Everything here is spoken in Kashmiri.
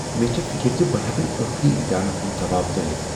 مےٚ چھےٚ فکر ز بہٕ ہیكہٕ نہٕ ٲخری امتحانن ہنٛد دباو ژٲلِتھ ۔